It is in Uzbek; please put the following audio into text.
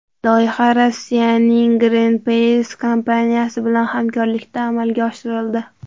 Loyiha Rossiyaning Greenpeace kompaniyasi bilan hamkorlikda amalga oshirildi.